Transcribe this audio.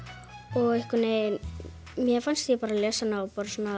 og einhvern veginn mér fannst ég lesa hana á